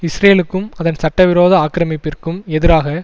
இஸ்ரேலுக்கும் அதன் சட்ட விரோத ஆக்கிரமிப்பிற்கும் எதிராக